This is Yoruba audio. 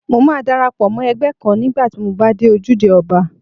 Mo máa dara pọ̀ mọ́ ẹgbẹ́ kan nígbà tí mo bá dé Ojúde Ọba.